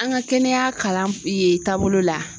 An ka kɛnɛya kalan in taabolo la